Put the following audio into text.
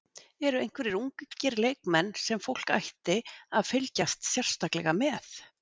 Eru einhverjir ungir leikmenn sem fólk ætti að fylgjast sérstaklega með?